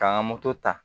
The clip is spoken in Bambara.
K'an ka ta